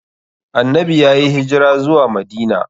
Annanbi yayi hijira zuwa Madina.